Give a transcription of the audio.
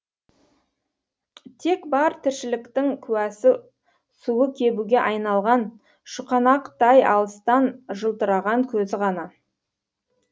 тек бар тіршіліктің куәсі суы кебуге айналған шұқанақтай алыстан жылтыраған көзі ғана